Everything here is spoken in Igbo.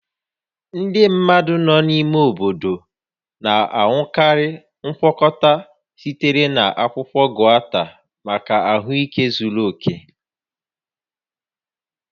Ndị mmadụ nọ n'ime ime obodo na-aṅụkarị ngwakọta sitere na akwụkwọ gauta maka ahụike zuru oke